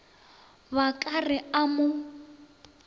ba ka re a mo